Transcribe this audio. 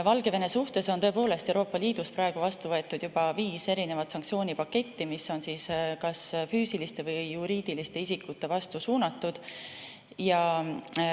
Valgevene suhtes on Euroopa Liidus tõepoolest vastu võetud juba viis sanktsioonipaketti, mis on kas füüsiliste või juriidiliste isikute vastu suunatud.